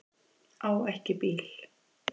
Á ekki bíl